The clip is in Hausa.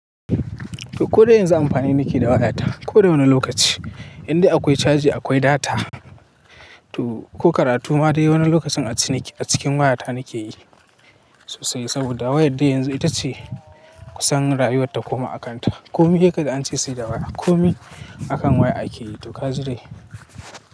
To ko da yanzu amfani nake da wayata. Ko da wani lokaci inda akwai caji akwai data. To ko karatu ma dai wani lokacin a cikin wayata nake yi sosai. Saboda wayar da yanzu ita ce kusan rayuwar ta koma a kanta. Komi haka dai an ce sai da waya. Komi akan waya ake yi to kaji dai.